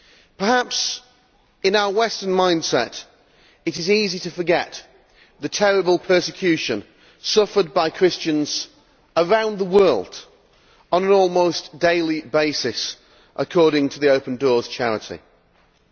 Perhaps in our Western mindset it is easy to forget the terrible persecution suffered by Christians around the world on an almost daily basis, according to the charity Open Doors.